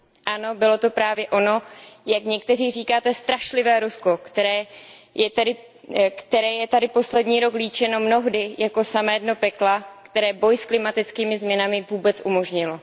Ano, bylo to právě ono, jak někteří říkáte, strašlivé Rusko, které je tady poslední rok líčeno mnohdy jako samé dno pekla, které boj s klimatickými změnami vůbec umožnilo.